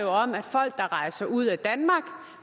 om folk der rejser ud af danmark